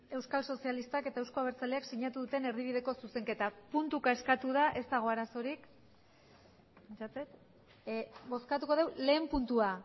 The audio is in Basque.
euskal sozialistak eta euzko abertzaleak sinatu duten erdibideko zuzenketa puntuka eskatu da ez dago arazorik pentsatzen dut bozkatuko dugu lehenen puntua